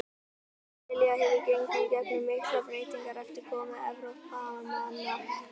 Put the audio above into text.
Ástralía hefur gengið í gegnum miklar breytingar eftir komu Evrópumanna þangað.